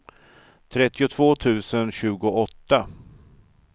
trettiotvå tusen tjugoåtta